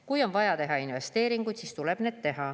Kui on vaja teha investeeringuid, siis tuleb need teha.